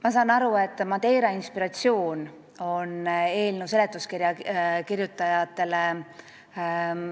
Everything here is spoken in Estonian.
Ma saan aru, et Madeira on eelnõu seletuskirja kirjutajatele inspiratsiooni